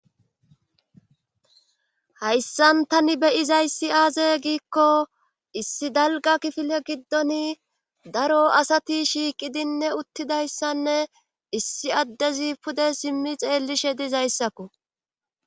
hayssan tani beyizayssi aaze giikko issi dalga kifile giddon daro asati shiiqidinne uttidayssanne issi addezi pude simmi xeellishe dizayssakku